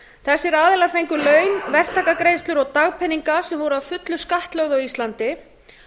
þessir aðilar fengu laun verktakagreiðslur og dagpeninga sem voru að fullu skattlögð á íslandi